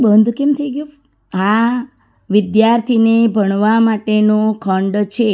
બંધ કેમ થઈ ગયું આ વિદ્યાર્થીને ભણવા માટે નો ખંડ છે.